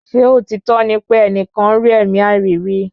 Ṣé òtítọ́ ní pè ẹnìkan rí ẹ̀mí àìrí rí?